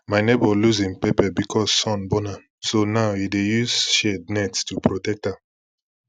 my neighbour lose him pepper because sun burn am so now e dey use shade net to protect am